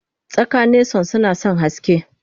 Tsaka nason sunasan haske